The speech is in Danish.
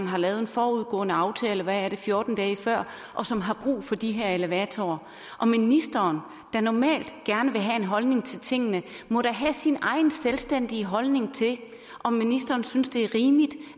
har lavet en forudgående aftale er det fjorten dage før og som har brug for de her elevatorer ministeren der normalt gerne vil have en holdning til tingene må da have sin egen selvstændige holdning til om ministeren synes det er rimeligt